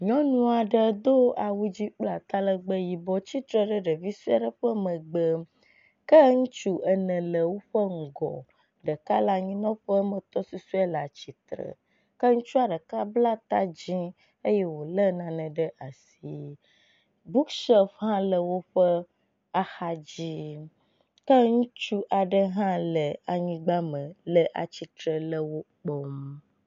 Nyɔnu aɖe do awu dzi kple aalegbe yibɔ tsitre ɖe ɖevi sue aɖe ƒe megbe ke ŋutsu ene le woƒe ŋgɔ. Ɖeka le anyinɔƒe ke wo ame etɔ̃ susɔe leatsitre. Ke ŋutsua ɖeka bla ta dzi eye wo le nane ɖe asi. Bukshɔp hã le woƒe axa dzi ke ŋutsu aɖe hã le anyigb a me le atsitre le wo kpɔm.